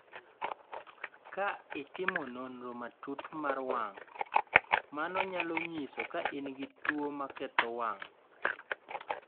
Ka itimo nonro matut mar wang�, mano nyalo nyiso ka in gi tuwo maketho wang'.